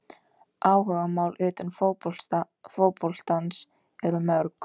Áhugamál utan fótboltans eru mörg.